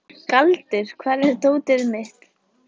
Galdur, hvar er dótið mitt?